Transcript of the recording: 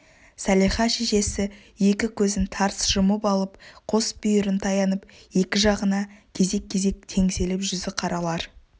салиха шешесі екі көзін тарс жұмып алып қос бүйірін таянып екі жағына кезек-кезек теңселіп жүзіқаралар